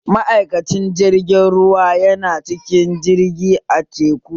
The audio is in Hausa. Ma'aikacin jirgin ruwa yana cikin jirgi a teku